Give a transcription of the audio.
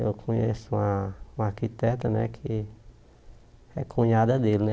Eu conheço uma uma arquiteta né que é cunhada dele né.